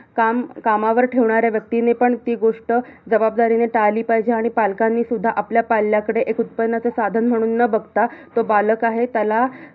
काम, कामावर ठेवणाऱ्या व्यक्तीने पण ती गोष्ट जबाबदारीने टाळली पाहिजे. आणि पालकांनीसुद्धा आपल्या पाल्ल्याकडे, एक उत्पन्नाचं साधन म्हणून न बघता, तो बालक आहे. त्याला